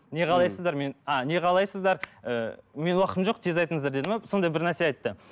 не қалайсыздар мен а не қалайсыздар ыыы менің уақытым жоқ тез айтыңыздар деді ме сондай бірнәрсе айтты